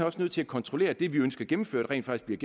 også nødt til at kontrollere at det vi ønsker gennemført rent faktisk